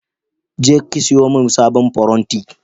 Je ki siyo main sabon faranti!